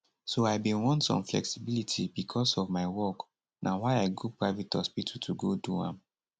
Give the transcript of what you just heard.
so i bin want some flexibility becos of my work na why i go private hospital to go do am